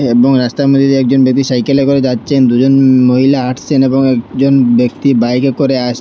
এবং রাস্তার মধ্যে দিয়ে একজন বেবি সাইকেলে করে যাচ্ছেন দুজন উম মহিলা হাঁটছেন এবং একজন ব্যক্তি বাইকে করে আসছে।